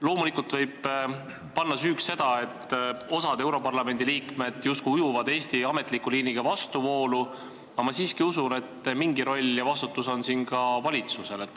Loomulikult võib süüdi olla see, et osa Europarlamendi liikmeid justkui ujub Eesti ametliku liiniga vastuvoolu, aga ma usun, et mingi roll ja vastutus on siin ka valitsusel.